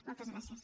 moltes gràcies